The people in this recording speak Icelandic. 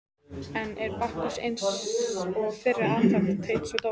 Enn er Bakkus eins og fyrr athvarf Teits og Dóra.